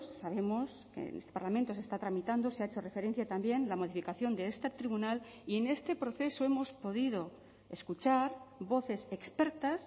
sabemos que en este parlamento se está tramitando se ha hecho referencia también la modificación de este tribunal y en este proceso hemos podido escuchar voces expertas